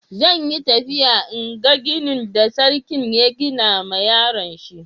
Zan yi tafiya n'gan ginin da sarkin ya gina ma yaron shi.